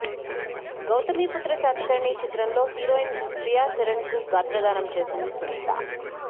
గౌతమిపుత్ర శాతకర్ణి చిత్రం లో హీరోయిన్ శ్రియా శరన్ కు గాత్రదానం చేసింది సునీత